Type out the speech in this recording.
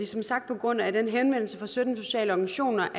som sagt på grund af den henvendelse fra sytten sociale organisationer